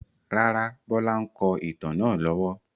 Rárá, Bọlá ń kọ ìtàn náà lọ́wọ́.